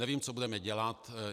Nevím, co budeme dělat.